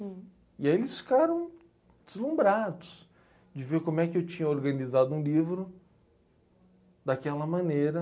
E aí eles ficaram deslumbrados de ver como é que eu tinha organizado um livro daquela maneira.